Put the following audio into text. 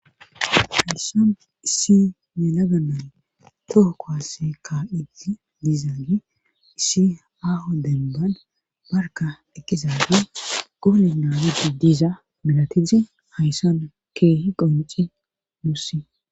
Hayssan issi ne laganan tohoko haskka idi dizaagi issi aaho denban barka eqqizage goole naamidi diza milatide hayssan keehi qonci nuussi